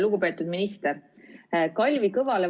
Lugupeetud minister!